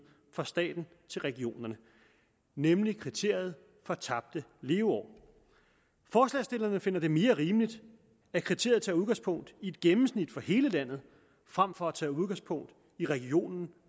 fra staten til regionerne nemlig kriteriet for tabte leveår forslagsstillerne finder det mere rimeligt at kriteriet tager udgangspunkt i et gennemsnit for hele landet frem for at tage udgangspunkt i regionen